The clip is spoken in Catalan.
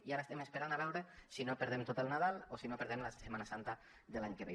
i ara estem esperant a veure si no perdem tot el nadal o si no perdem la setmana santa de l’any que ve